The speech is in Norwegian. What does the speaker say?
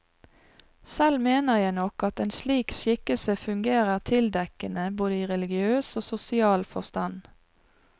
Selv mener jeg nok at en slik skikkelse fungerer tildekkende, både i religiøs og sosial forstand.